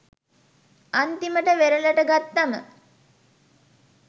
අන්තිමට වෙරලට ගත්තම